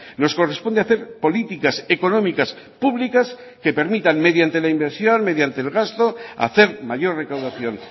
nos corresponde hacer políticas económicas públicas que permitan mediante la inversión mediante el gasto hacer mayor recaudación